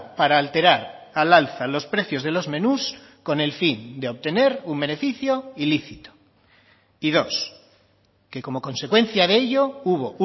para alterar al alza los precios de los menús con el fin de obtener un beneficio ilícito y dos que como consecuencia de ello hubo